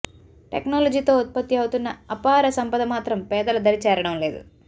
టెక్నాలజీతో ఉత్పత్తి అవుతున్న అపార సంపద మాత్రం పేదల దరి చేరడంలేదు